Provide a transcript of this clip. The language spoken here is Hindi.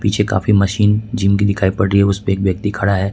पीछे काफी मशीन जिम की दिखाई पड़ रही है उसपे एक व्यक्ति खड़ा है।